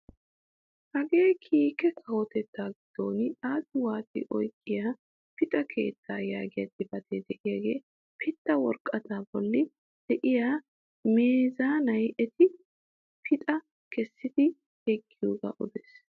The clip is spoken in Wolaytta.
Hagee kiike kawotettaa giddon xaaxi waaxi oyqqiyaa pixxa keettaa yaagiyaa xifatee de'iyoo pidda woraqataa bolli de'iyaa meezanay eti pixxaa kessidi yiggiyoogaa odees!